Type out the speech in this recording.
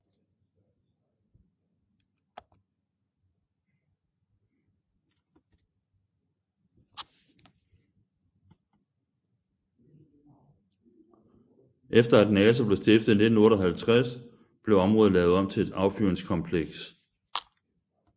Efter at NASA blev stiftet i 1958 blev området lavet om til et affyringskompleks